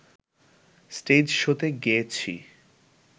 stage শোতে গেয়েছি